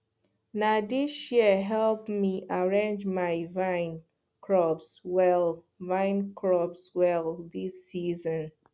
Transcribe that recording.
na these shears help me arrange my vine crops well vine crops well this season